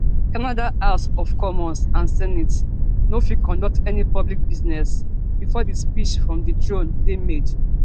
canada house of commons and senate no fit conduct any public business bifor di speech from di throne dey made